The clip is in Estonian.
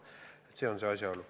Selles on asi.